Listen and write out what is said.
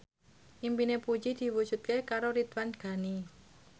impine Puji diwujudke karo Ridwan Ghani